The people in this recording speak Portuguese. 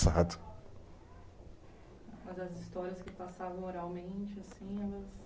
Mas as histórias que passavam oralmente, assim, elas